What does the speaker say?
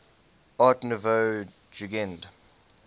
art nouveau jugend